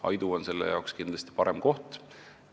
Aidu on selleks kindlasti parem koht.